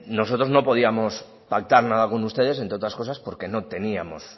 nosotros no podíamos pactar nada con ustedes entre otras cosas porque no teníamos